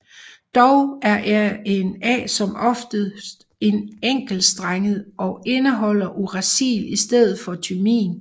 Dog er RNA som oftest enkeltstrenget og indeholder uracil i stedet for thymin